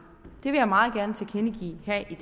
jeg meget gerne tilkendegive her i